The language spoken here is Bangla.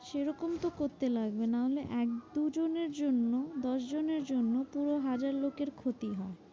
সেরকম তো করতে লাগবে। নাহলে এক দুজনের জন্য দশজনের জন্য পুরো হাজার লোকের ক্ষতি হয়।